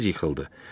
Tez yıxıldı.